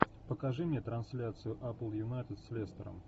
покажи мне трансляцию апл юнайтед с лестером